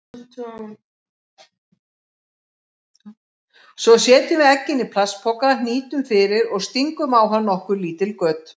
Svo setjum við eggin í plastpoka, hnýtum fyrir og stingum á hann nokkur lítil göt.